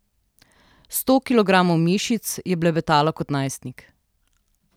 Sto kilogramov mišic je blebetalo kot najstnik.